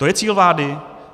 To je cíl vlády?